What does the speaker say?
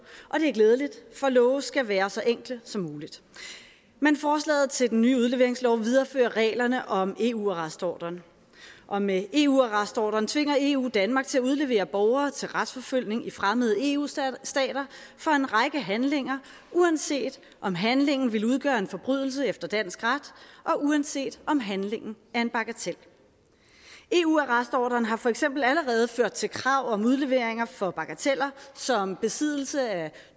og det er glædeligt for love skal være så enkle som muligt men forslaget til den nye udleveringslov viderefører reglerne om eu arrestordren og med eu arrestordren tvinger eu danmark til at udlevere borgere til retsforfølgelse i fremmede eu stater for en række handlinger uanset om handlingen ville udgøre en forbrydelse efter dansk ret og uanset om handlingen er en bagatel eu arrestordren har for eksempel allerede ført til krav om udleveringer for bagateller som besiddelse af